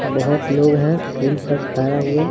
बहुत लोग हैं फूल पर खारा हुए।